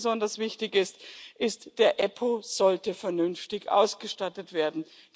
Und was mir besonders wichtig ist Die EUStA sollte vernünftig ausgestattet werden.